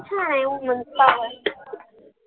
छान आहे women's power